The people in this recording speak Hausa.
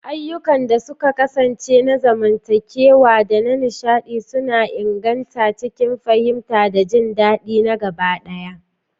Ayyukan da suka kasance na zamantakewa da na nishaɗi suna inganta aikin fahimta da jin dadi na gaba ɗaya.